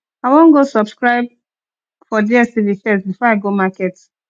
i wan go subscribe for dstv first before i go market